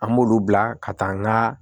An b'olu bila ka taa n ka